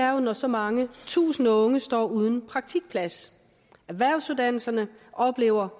jo når så mange tusinde unge står uden praktikplads erhvervsuddannelserne oplever